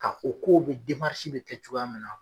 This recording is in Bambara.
ka o ko bɛ bɛ kɛ cogoya min na.